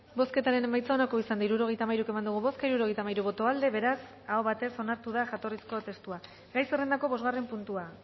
bozketaren emaitza onako izan da hirurogeita hamairu eman dugu bozka hirurogeita hamairu boto aldekoa beraz aho batez onartu da jatorrizko testua gai zerrendako bosgarren puntua